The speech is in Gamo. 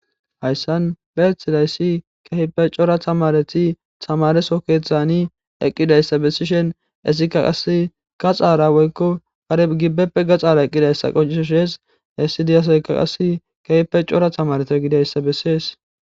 Hayssan be hethilayssi kehipe cora tamareti tamareso keethani eqqidayssa bessishen essika qas gaxaara woykko gareb gibbeppe gaxaara eqqidayssa qoncisoshees essidiyasayka qasi keyepe cora tamareto eqidayssa bessees.